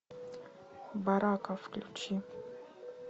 барака включи